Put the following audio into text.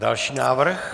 Další návrh.